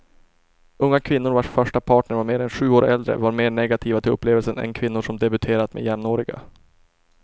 Unga kvinnor vars första partner var mer än sju år äldre var mer negativa till upplevelsen än kvinnor som debuterat med jämnåriga.